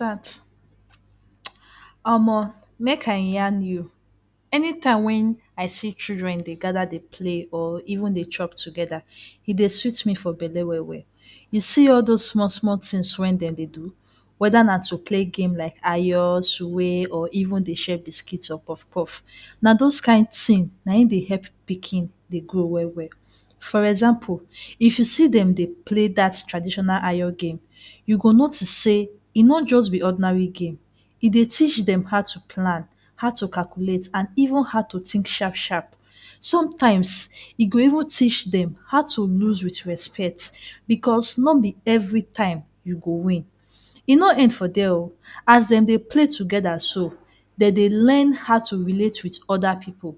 ? Omo make I yarn you, anytime wen I see children dey gather dey play or even dey chop together, e dey sweet me for belle well well. You see all those small small things wey dem dey do whether na to play game like Ayo, swing or even share biscuit or kpof-kpof, na those kain thing na im dey help pikin dey grow well well. For example, if you see dem dey play that traditional Ayo game you go notice sey e no just be ordinary game, e dey teach dem how to plan how to calculate and even how to think sharp sharp. Sometimes e go even teach dem how to lose wit respect because no be every time you go win. E no end for there oo, as dem dey play together so dem dey learn how to relate wit other pipu.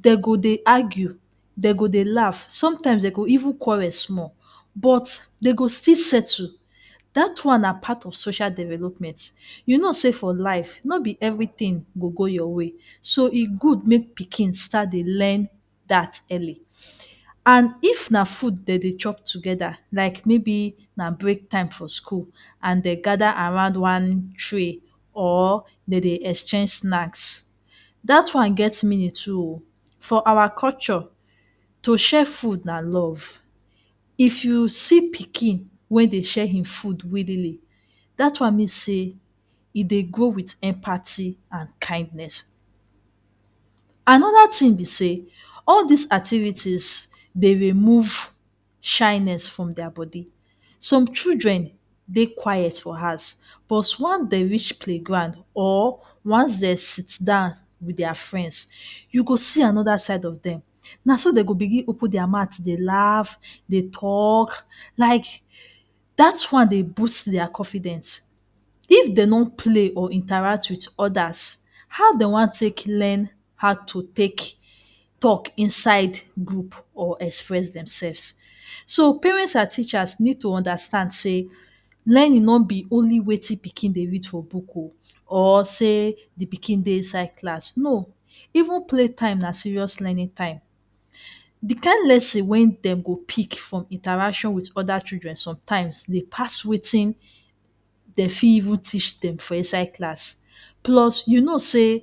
Dey go dey argue, dey go dey laugh sometimes dey go even quarrel small but dem go still settle; dat one na part of social development. You know sey for life no be everything go go your way, so e good make pikin start dey learn dat early and if na food dem dey chop together like maybe na break time for school and dey gather around one tree or dem dey exchange snacks, dat one get meaning too oo. For our culture to share food na love. If you see pikin wey dey share im food willingly dat one mean sey e dey grow wit empathy and kindness. Another thing be sey all dis activities dey remove shyness from their body. Some children dey quiet for house but once dem reach playground or once dem sit down wit there friends you go see another side of dem, naso dem go begin dey open their mouth dey laugh, dey talk like dat one dey boost their confidence. If dey no play or interact with others how dey wan take learn how to take talk inside group or express themselves. So parents and teachers need to understand sey learning no be only wetin pikin dey read for book oo or sey de pikin dey inside class, no, even play time na serious learning time. De kain lesson wey dem go pick from interaction wit other children sometimes dey pass wetin dey fit even teach dem for inside class plus you know sey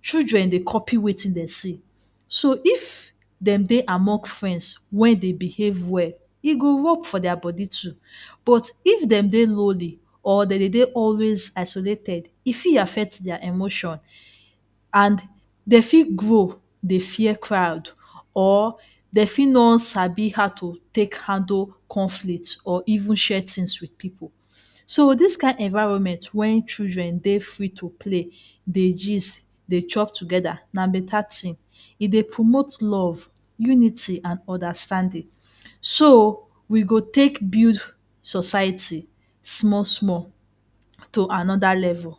children dey copy wetin dem see. So if dem dey among friends wey dey behave well e go work for there body too, but if dem dey lonely or dem dey dey always isolated e fit affect their emotion and dey fit grow dey fear crowd or dey fit no sabi how to take handle conflict or even share things wit pipu. So dis kain environment wey children dey free to play, dey gist, dey talk together na better thing. E dey promote love, unity and understanding so we go take build society small small to another level.